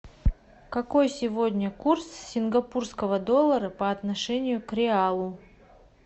какой сегодня курс сингапурского доллара по отношению к реалу